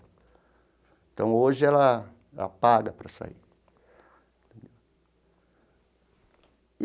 Então hoje ela ela paga para sair entendeu.